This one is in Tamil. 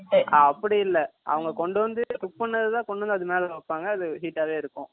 அப்படி இல்ல அவங்க கொண்டு வந்து குக் பண்ணது தான் கொண்டு வந்து அதுல மேல வைப்பாங்க. அது ஹீட்டாவே இருக்கும்